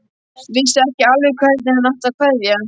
Vissi ekki alveg hvernig hann átti að kveðja.